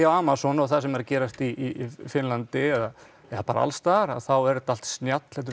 Amazon og það sem er að gerast í Finnlandi eða bara alls staðar þá er þetta allt snjall þetta